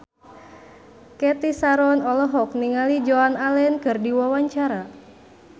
Cathy Sharon olohok ningali Joan Allen keur diwawancara